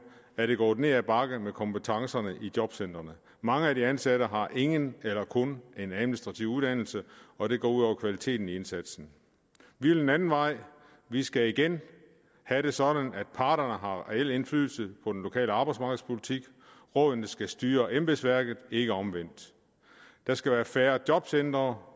er det gået ned ad bakke med kompetencerne i jobcentrene mange af de ansatte har ingen eller kun en administrativ uddannelse og det går ud over kvaliteten i indsatsen vi vil en anden vej vi skal igen have det sådan at parterne har reel indflydelse på den lokale arbejdsmarkedspolitik rådene skal styre embedsværket ikke omvendt der skal være færre jobcentre